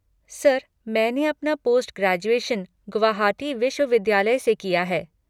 Sir, मैंने अपना post graduation Guwahati विश्वविद्यालय से किया है।